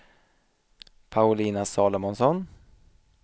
Paulina Salomonsson